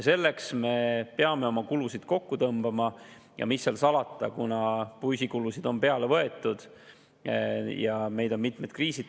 Selleks me peame oma kulusid kokku tõmbama, mis seal salata, kuna püsikulusid on juurde võetud ja meid on tabanud mitmed kriisid.